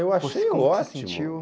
Eu achei ótimo. sentiu